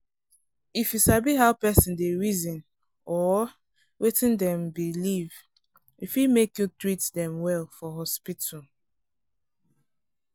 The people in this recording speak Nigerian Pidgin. if you sabi how person dey reason or wetin dem believe e fit make you treat dem well for hospital.